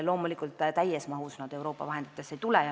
Loomulikult, täies mahus see Euroopa vahenditest ei tule.